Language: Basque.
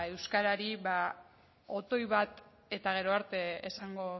euskarari otoi bat eta gero arte esango